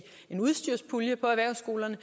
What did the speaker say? en udstyrspulje for erhvervsskolerne